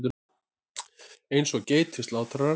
Eins og geit við slátrarann.